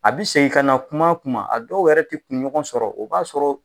A bi segin ka na kuma kuma a dɔw yɛrɛ tɛ kunɲɔgɔn sɔrɔ o b'a sɔrɔ